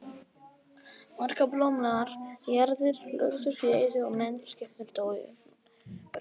Margar blómlegar jarðir lögðust í eyði og menn og skepnur dóu unnvörpum.